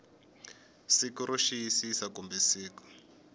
siku ro xiyisisa kumbe siku